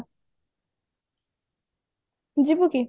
ଯିବୁ କି